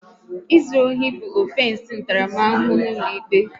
Ịzụ ohi bụ ọfensi ntaramahụhụ n'ụlọikpe